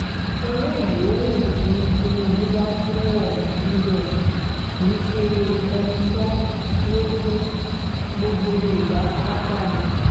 owó yòówù tí tínúbù bá fún òónì níbẹ̀ yẹn kì ṣe enítàn ló fún gbogbo yorùbá pátá ni